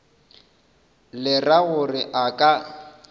le ra gore a ka